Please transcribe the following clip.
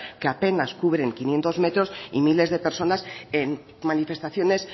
que apenas cubren quinientos metros y miles de personas en manifestaciones